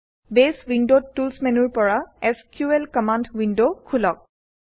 বেছ উইণ্ডত টুলচ্ মেনুৰ পৰা এছক্যুএল কমাণ্ড উইণ্ডখোলক